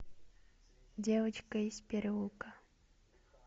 девочка из переулка